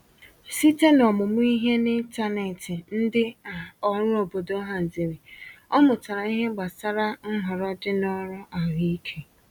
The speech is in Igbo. Site n’omumụ ihe n’ịntanetị ndị um ọrụ obodo haziri, ọ mutara ìhè gbasàra nhọrọ dị na ọrụ ahụike.